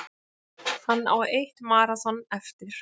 Hann á eitt maraþon eftir